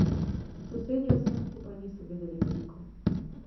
Sosedje o vsem skupaj niso vedeli veliko.